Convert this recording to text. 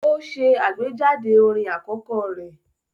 Ó ṣe àgbéjáde orin àkọ́kọ́ rẹ̀